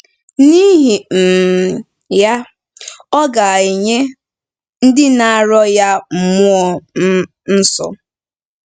N’ihi um ya, ọ ‘ga-enye ndị na-arịọ ya mmụọ um nsọ.